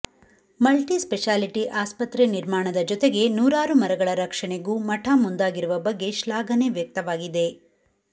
multi speciality ಆಸ್ಪತ್ರೆ ನಿರ್ಮಾಣದ ಜತೆಗೆ ನೂರಾರು ಮರಗಳ ರಕ್ಷಣೆಗೂ ಮಠ ಮುಂದಾಗಿರುವ ಬಗ್ಗೆ ಶ್ಲಾಘನೆ ವ್ಯಕ್ತವಾಗಿದೆ